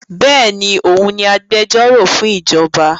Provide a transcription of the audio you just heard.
Béèni, òun ni agbẹjọ́rò fún ìjọba